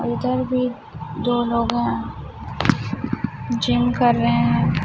और इधर भी दो लोग हैं जिम कर रहे हैं।